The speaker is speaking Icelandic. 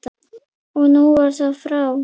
Og nú var það frá.